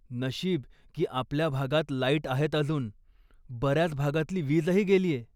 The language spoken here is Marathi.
नशीब की आपल्या भागात लाईट आहेत अजून, बऱ्याच भागातली वीजही गेलीय.